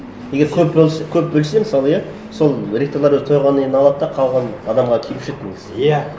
егер көп көп бөлсе мысалы иә сол ректорлар уже тойғаннан кейін алады да қалғаны адамға тиюші еді негізі иә